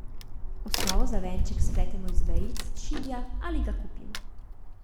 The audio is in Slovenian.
Osnovo za venček spletemo iz vejic, šibja ali ga kupimo.